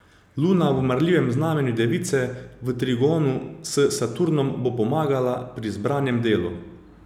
Luna v marljivem znamenju device, v trigonu s Saturnom, bo pomagala pri zbranem delu.